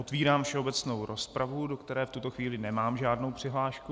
Otvírám všeobecnou rozpravu, do které v tuto chvíli nemám žádnou přihlášku.